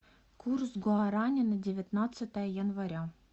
курс гуарани на девятнадцатое января